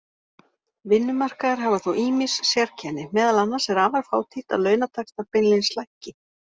Vinnumarkaðir hafa þó ýmis sérkenni, meðal annars er afar fátítt að launataxtar beinlínis lækki.